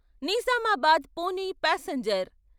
Nizamabad Pune passenger